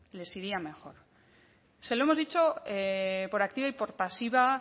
les iría mejor se lo hemos dicho por activa y por pasiva